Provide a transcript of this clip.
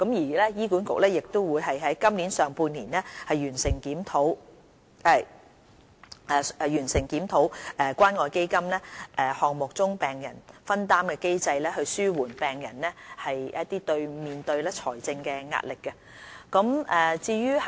醫管局亦會於今年上半年完成檢討關愛基金項目中病人藥費的分擔機制，紓緩病人面對的財政壓力。